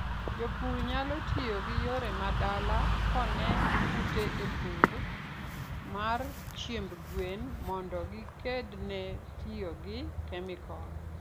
jopur nyalo tiyo gi yore ma dala keone kute e pur mar chiemb gwen mondo gikedne tiyogi chemical